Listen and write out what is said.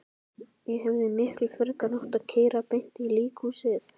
Ég hefði miklu frekar átt að keyra beint í líkhúsið.